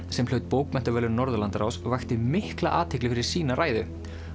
sem hlaut bókmenntaverðlaun Norðurlandaráðs vakti mikla athygli fyrir sína ræðu